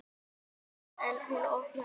En hún opnar ekki.